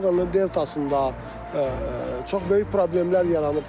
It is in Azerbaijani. Volqanın deltasında çox böyük problemlər yaranıbdır.